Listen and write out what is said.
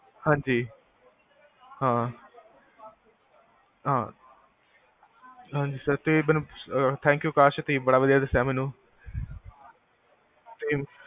ਹਾਂਜੀ, ਹਾਂ, ਹਾਂ, ਹਾਂਜੀ sir ਤੇ ਮੈਨੂ thanku ਕਾਸ਼ ਤੁਸੀਂ ਬੜਾ ਵਦੀਆ ਦਸਿਆ ਮੈਨੂ ਤੇ